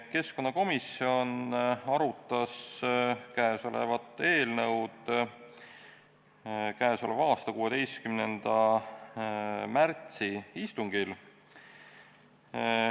Keskkonnakomisjon arutas seda eelnõu 16. märtsi istungil.